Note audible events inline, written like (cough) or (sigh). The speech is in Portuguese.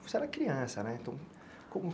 Você era criança, né? (unintelligible)